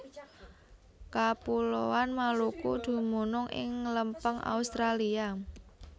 Kapuloan Maluku dumunung ing lempeng Australia